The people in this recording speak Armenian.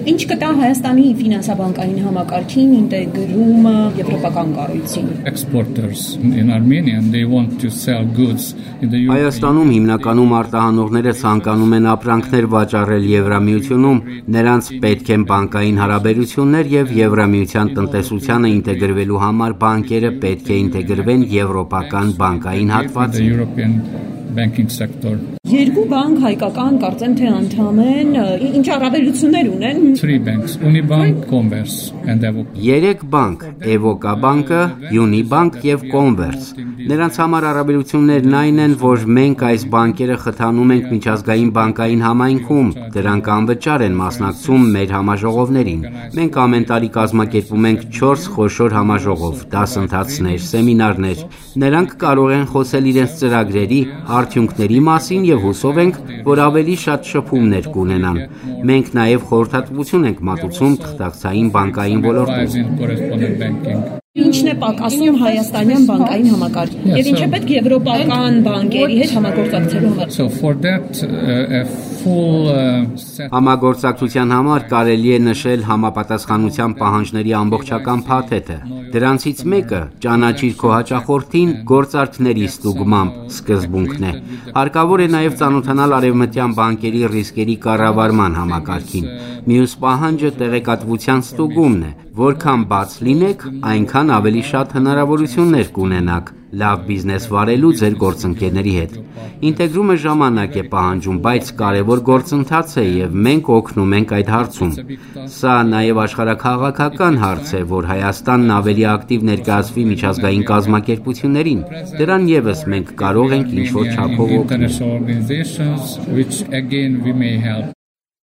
Ի՞նչ կտա հայաստանի ֆինանսաբանկային համակարգին ինտեգրումը եվրոպական կառույցին / Կենտրոնական և արևելյան Եվրոպայի բանկային ասոցիացիային/։ Հայաստանում հիմնականում արտահանողները ցանկանում են ապրանքներ վաճառել Եվրամիությունում, նրանց պետք են բանկային հարաբերություններ, և Եվրամիության տնտեսությանը ինտեգրվելու համար բանկերը պետք է ինտեգրվեն եվրոպական բանկային հատվածին։ -Կարծես երկու հայկական բանկեր արդեն անդամ են։ Երեք բանկ՝ Էվոկաբանկը, Յունիբանկ և Կոնվերս: Նրանց համար առավելություններն այն են, որ մենք այս բանկերը խթանում ենք միջազգային բանկային համայնքում, դրանք անվճար են մասնակցում մեր համաժողովներին։ Մենք ամեն տարի կազմակերպում ենք 4 խոշոր համաժողով, դասընթացներ, սեմինարներ: Նրանք կարող են խոսել իրենց ծրագրերի, արդյունքների մասին և հուսով ենք, որ ավելի շատ շփումներ կունենան: Մենք նաև խորհրդատվություն ենք մատուցում թղթակցային բանկային ոլորտում: -Ի՞նչ կասեք, ի՞նչն է պակասում հայաստանյան բանկային համակարգին։ Եվ ինչ է հարկավոր եվրոպական բանկերի հետ համագործակցության համար։ Համագործակցության համար կարելի է նշել համապատասխանության պահանջների ամբողջական փաթեթը: Դրանցից մեկը՝ «ճանաչիր քո հաճախորդին՝ գործարքների ստուգմամբ» սկզբունքն է։ Հարկավոր է նաև ծանոթանալ արևմտյան բանկերի ռիսկերի կառավարման համակարգին: Մյուս պահանջը տեղեկատվության ստուգումն է։ Որքան բաց լինեք, այնքան ավելի շատ հնարավորություններ կունենաք՝ լավ բիզնես վարելու ձեր գործընկերների հետ: Ինտեգրումը ժամանակ է պահանջում, բայց կարևոր գործընթաց է, և մենք օգնում ենք այդ հարցում։ Սա նաև աշխարհաքաղաքական հարց է, որ Հայաստանն ավելի ակտիվ ներկայացվի միջազգային կազմակերպություններին։ Դրան ևս մենք կարող ենք ինչ-որ չափով օգնել։